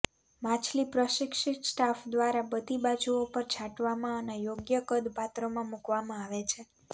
માછલી પ્રશિક્ષિત સ્ટાફ દ્વારા બધી બાજુઓ પર છાંટવામાં અને યોગ્ય કદ પાત્રમાં મૂકવામાં આવે છે